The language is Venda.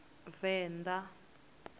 venda